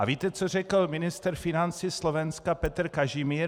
A víte, co řekl ministr financí Slovenska Peter Kažimír?